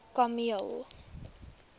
kameel